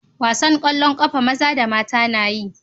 Wasan kwallon kafa maza da Mata nayi.